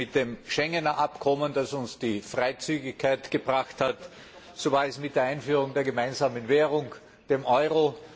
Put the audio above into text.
So war es mit dem Schengen Abkommen, das uns die Freizügigkeit gebracht hat, so war es mit der Einführung der gemeinsamen Währung, dem Euro.